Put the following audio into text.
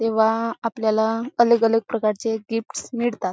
तेव्हा आपल्याला अलग-अलग प्रकारचे गिफ्ट्स मिळतात.